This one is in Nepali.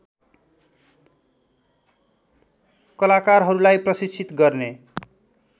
कलाकारहरूलाई प्रशिक्षित गर्ने